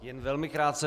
Jen velmi krátce.